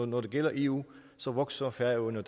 når det gælder eu så vokser færøerne